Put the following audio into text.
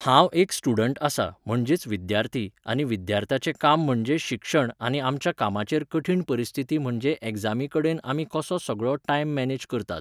हांव एक student आसां म्हणजेच विद्यार्थी आनी विद्यार्थ्याचे काम म्हणजे शिक्षण आनी आमच्या कामाचेर कठीण परीस्थिती म्हणजे एक्जामी कडेन आमी कसो सगळो time manage करतात